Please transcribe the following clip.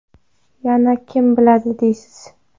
Yana kim biladi deysiz.